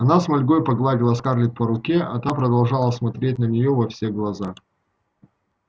она с мольбой погладила скарлетт по руке а та продолжала смотреть на неё во все глаза